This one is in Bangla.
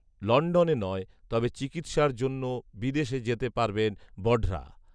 লন্ডনে নয়, তবে চিকিৎসার জন্য বিদেশ যেতে পারবেন বঢড়া